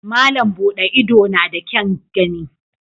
Malam Bude Ido na da kyaun gani.